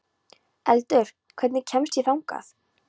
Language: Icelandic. Eldur, hvernig kemst ég þangað?